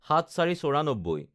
০৭/০৪/৯৪